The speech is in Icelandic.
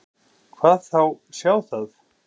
Hvað þá sjá það.